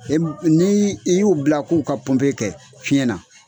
Ni i y'u bila k'u ka pɔnpe kɛ fiɲɛna